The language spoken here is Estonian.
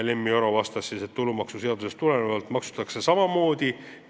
Lemmi Oro vastas, et tulumaksuseadusest tulenevalt maksustatakse samamoodi.